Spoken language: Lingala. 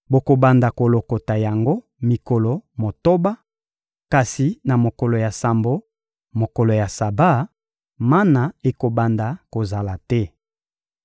Bokobanda kolokota yango mikolo motoba; kasi na mokolo ya sambo, mokolo ya Saba, mana ekobanda kozala te.